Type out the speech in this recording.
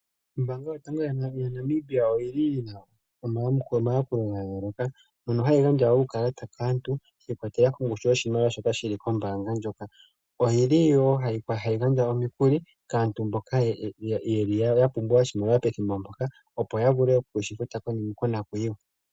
Ombaanga yotango yopashigwana oyi na mayakulo ga yooloka, mono hayi gandja uukalata kaantu, shi ikwatelela kongushu yoshimaliwa shoka shi li kombaanga hoka. Oyi li wo hayi gandja omikuli kaantu mboka ya pumbwa oshimaliwa pethimbo mpoka, opo ya vule okushi futa konakuyiwa.